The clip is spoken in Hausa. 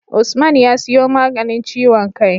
Usman ya siyo maganin ciwon kai